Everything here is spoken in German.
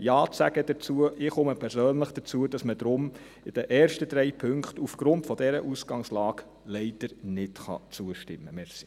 Ich komme persönlich dazu, dass man aufgrund dieser Ausgangslage den ersten drei Punkten leider nicht zustimmen kann.